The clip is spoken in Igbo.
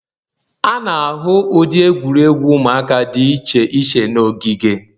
A na-ahụ ụdị egwuregwu ụmụaka dị iche iche n'ogige.